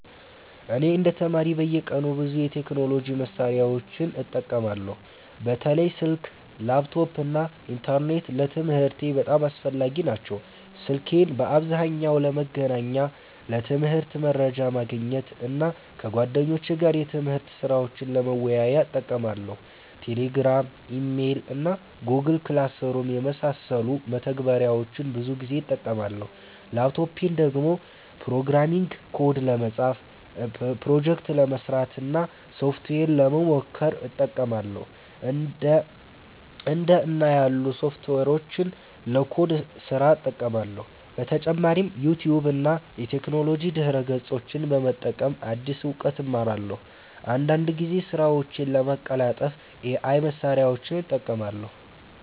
እኔ እንደ ተማሪ በየቀኑ ብዙ የቴክኖሎጂ መሳሪያዎችን እጠቀማለሁ። በተለይ ስልክ፣ ላፕቶፕ እና ኢንተርኔት ለትምህርቴ በጣም አስፈላጊ ናቸው። ስልኬን በአብዛኛው ለመገናኛ፣ ለትምህርት መረጃ ማግኘት እና ከጓደኞቼ ጋር የትምህርት ስራዎችን ለመወያየት እጠቀማለሁ። Telegram፣ Email እና Google Classroom የመሳሰሉ መተግበሪያዎችን ብዙ ጊዜ እጠቀማለሁ። ላፕቶፔን ደግሞ ፕሮግራሚንግ ኮድ ለመጻፍ፣ ፕሮጀክት ለመስራት እና ሶፍትዌር ለመሞከር እጠቀማለሁ። እንደ እና ያሉ ሶፍትዌሮችን ለኮድ ስራ እጠቀማለሁ። በተጨማሪም ዩቲዩብ እና የቴክኖሎጂ ድረ-ገጾችን በመጠቀም አዲስ እውቀት እማራለሁ። አንዳንድ ጊዜም ስራዎቼን ለማቀላጠፍ AI መሳሪያዎችን እጠቀማለሁ።